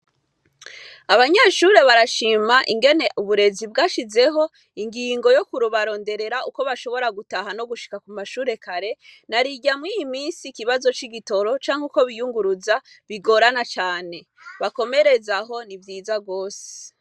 Abanyeshure barashima cane uburezi bwashizeho ingingo yo kubaronderera uko bashobora gutaha no gushika ku mashure kare narirya mw'iyi misi ikibazo c'igitoro canke uko biyunguruza bigorana cane. Bakomerez'aho ni vyiza cane.